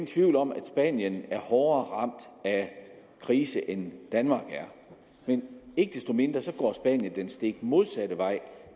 tvivl om at spanien er hårdere ramt af krisen end danmark er men ikke desto mindre går spanien den stik modsatte vej